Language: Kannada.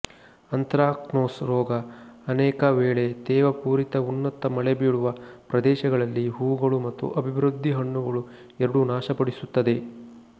ಅಂತ್ರಾಕ್ನೋಸ್ ರೋಗ ಅನೇಕವೇಳೆ ತೇವಪೂರಿತ ಉನ್ನತ ಮಳೆ ಬೀಳುವ ಪ್ರದೇಶಗಳಲ್ಲಿ ಹೂಗಳು ಮತ್ತು ಅಭಿವೃದ್ಧಿ ಹಣ್ಣುಗಳು ಎರಡೂ ನಾಶಪಡಿಸುತ್ತದೆ